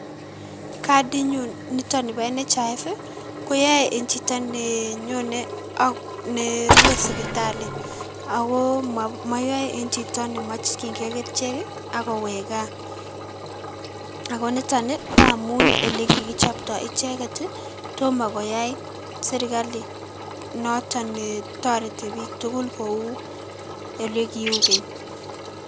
Kadinyun niton nibo NHIF koyoe chito nenyone ak nerwe sipitali ak ko moyoe en chito nemokying'e kerichek ak kowek kaa, ak ko niton ko amun en elee kikichobto icheket, tomoo koyai serikali noton netoreti serikali netoreti biik tukul kouu elee kiuu keny.